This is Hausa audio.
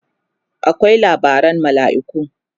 akwai labaran malaiku